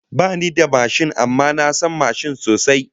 Bani da mashin amma na san mashin sosai